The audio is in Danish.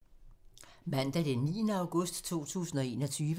Mandag d. 9. august 2021